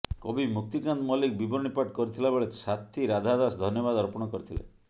କବି ମୁକ୍ତିକାନ୍ତ ମଲ୍ଲିକ ବିବରଣୀ ପାଠ କରିଥିଲା ବେଳେ ସାଥୀ ରାଧା ଦାସ ଧନ୍ୟବାଦ ଅର୍ପଣ କରିଥିଲେ